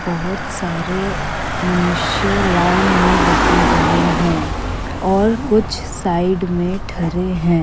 बहुत सारे मनुष्य लाइन में लगे हुए हैं और कुछ साइड में ठड़े हैं।